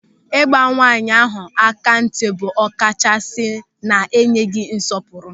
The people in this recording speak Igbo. Ị gba nwaanyị ahụ aka ntị bụ ọkachasị na-enyeghị nsọpụrụ.